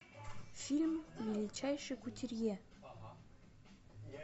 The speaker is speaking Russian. фильм величайший кутюрье